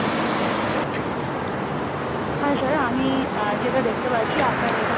হ্যাঁ sir আমি আহ যেটা দেখতে পাচ্ছি আপনার